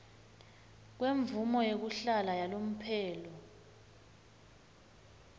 kwemvumo yekuhlala yalomphelo